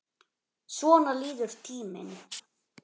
Svona líður tíminn.